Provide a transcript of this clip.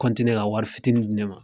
ka wari fitiinin di ne ma.